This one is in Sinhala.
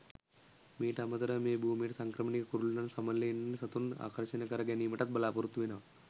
මීට අමතරව මේ භූමියට සංක්‍රමණික කුරුල්ලන් සමනළයින් වැනි සතුන් ආකර්ශනය කර ගැනීමටත් බලාපොරොත්තු වෙනවා.